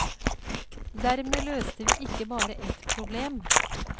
Dermed løste vi ikke bare et problem.